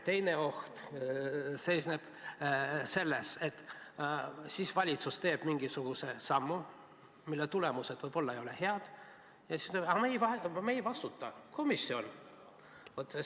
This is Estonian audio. Teine oht seisneb selles, et kui valitsus teeb mingisuguse sammu, mille tulemused võib-olla ei ole head, siis: aga me ei vastuta, komisjon vastutab.